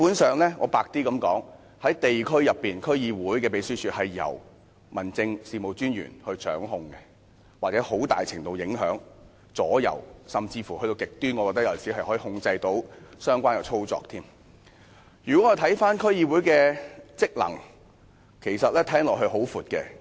說得白一點，基本上，地區區議會的秘書處是由民政事務專員掌控，或很大程度影響或左右，甚至說得極端一點，我認為有時甚至能夠控制相關的操作。如果我們看回區議會的職能，聽來是很廣闊的。